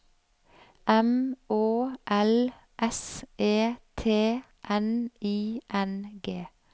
M Å L S E T N I N G